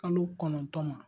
Kalo kɔnɔntɔn n.a.